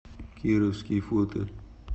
кировский фото